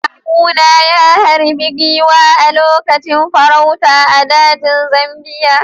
Kawuna ya harbi giwa a lokacin farauta a dajin Zambiya.